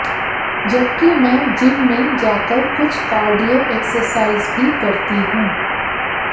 जबकि मैं जिम में जाकर कुछ कार्डियो एक्सरसाइज भी करती हूं